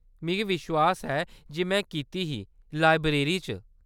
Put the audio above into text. मिगी विश्वास ऐ जे में कीती ही ; लाइब्रेरी च।